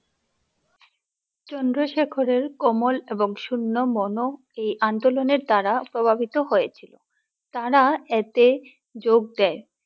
চন্দ্রশেখরের কোমল এবং শূন্য মন এই আন্দোলনের দ্বারা প্রভাবিত হয়েছিলো, তারা এতে যোগ দেয়